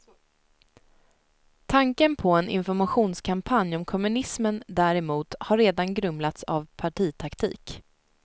Tanken på en informationskampanj om kommunismen däremot har redan grumlats av partitaktik.